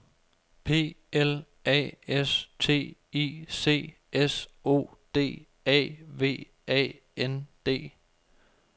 P L A S T I C S O D A V A N D